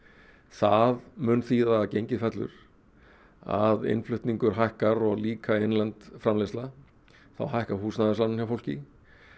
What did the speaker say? það mun þýða að gengið fellur að innflutningur hækkar og líka innlend framleiðsla þá hækka húsnæðislánin hjá fólki